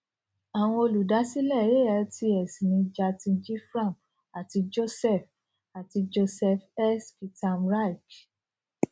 àwọn olùdásílẹ altx ni jatin jivram àti joseph àti joseph s kitamirike